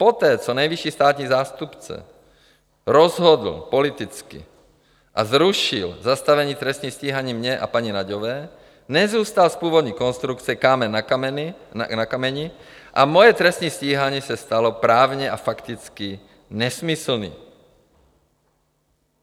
Poté, co nejvyšší státní zástupce rozhodl politicky a zrušil zastavení trestního stíhání mě a paní Nagyové, nezůstal z původní konstrukce kámen na kameni a moje trestní stíhání se stalo právně a fakticky nesmyslné.